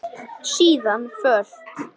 Síðan fölt.